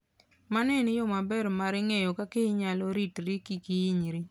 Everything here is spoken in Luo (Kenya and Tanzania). Mano en yo maber mar ng'eyo kaka inyalo ritri kik hinyri.